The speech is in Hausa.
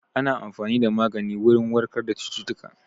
Ana amfani da magani wurin warkar da cututtuka